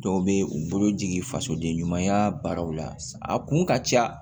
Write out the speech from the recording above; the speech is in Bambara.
Dɔw bɛ u bolo jigin fasoden ɲumanya baaraw la a kun ka ca